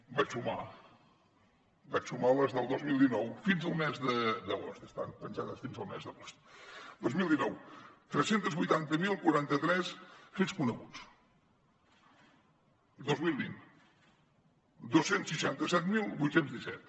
i vaig sumar vaig sumar les del dos mil dinou fins al mes d’agost estan penjades fins al mes d’agost dos mil dinou tres cents i vuitanta mil quaranta tres fets coneguts dos mil vint dos cents i seixanta set mil vuit cents i disset